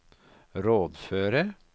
rådføre